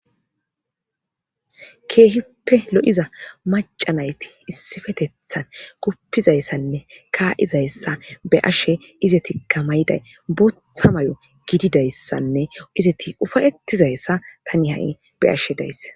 keehippe lo7iza macanayti issifetethan kuppizayssanne kaa7izayssa be ashe izeti kamayiday botha may7o gididayssanne izeti ufayettizayssa tani ha7i be ashe days